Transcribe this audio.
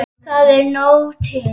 Það er nóg til.